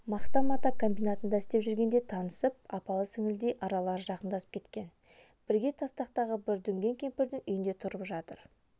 мақта-мата комбинатында істеп жүргенде танысып апалы-сіңілідей аралары жақындасып кеткен бірге тастақтағы бір дүңген кемпірдің үйінде тұрып жатыр